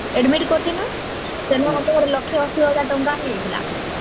admit କରିଥିଲୁ ସେଥି ଲକ୍ଷେ ଅସି ହଜାର ଟଙ୍କା ହେଇ ଯାଇଥିଲା